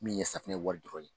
Min ye safunɛ wari dɔrɔn ye